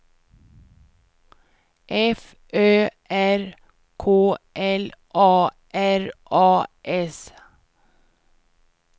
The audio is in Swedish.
F Ö R K L A R A S